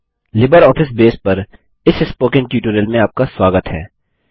LibreOffice Base पर इस spoken tutorial में आपका स्वागत है